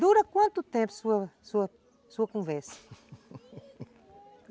Dura quanto tempo sua sua sua conversa?